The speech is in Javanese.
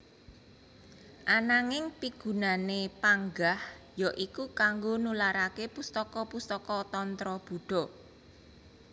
Ananging pigunané panggah ya iku kanggo nularaké pustaka pustaka tantra Buddha